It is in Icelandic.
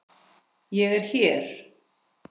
ÉG ER HÉR!